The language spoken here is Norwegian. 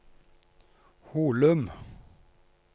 Holum